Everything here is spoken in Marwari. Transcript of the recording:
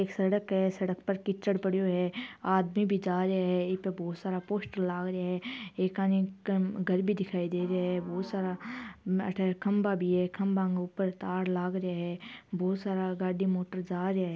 एक सड़क है सड़क पर कीचड़ पड्यो है आदमी भी जा रिया है इपे बहुत सारा पोस्टर लाग रिया है एकानी एक घर भी दिखाई दे रिया है बहुत सारा अठे खंबा भी है खम्भा ऊपर तार लाग रिया है बहोत सारा गाडी मोटर जा रिया है।